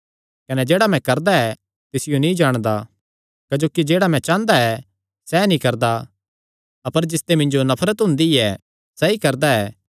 कने जेह्ड़ा मैं करदा ऐ तिसियो नीं जाणदा क्जोकि जेह्ड़ा मैं चांह़दा ऐ सैह़ नीं करदा अपर जिसते मिन्जो नफरत हुंदी ऐ सैई करदा ऐ